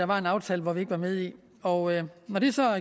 var en aftale vi ikke var med i når